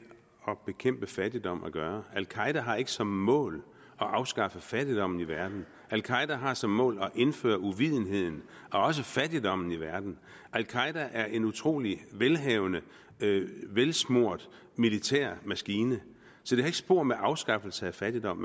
at bekæmpe fattigdom at gøre al qaeda har ikke som mål at afskaffe fattigdommen i verden al qaeda har som mål at indføre uvidenhed og også fattigdom i verden al qaeda er en utrolig velhavende velsmurt militærmaskine så det har ikke spor med afskaffelse af fattigdom